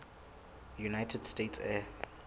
united states air